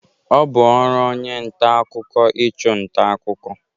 Ọ bụ ọrụ onye nta akụkọ ịchụ nta akụkọ.